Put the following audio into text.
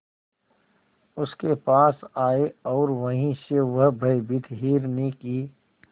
उसके पास आए और वहीं से वह भयभीत हिरनी की